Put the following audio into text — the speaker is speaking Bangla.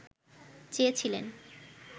চেয়েছিলেন